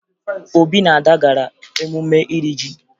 Obi na Ada gara emume iri ji